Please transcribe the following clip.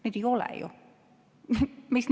Kuid neid ju ei ole.